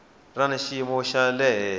ra xiyimo xa le henhla